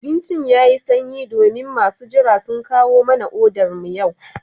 Abincin yayi sanyi domin masu jira sun kawo mana odar mu yau